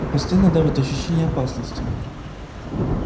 и постоянно давит ощущение опасности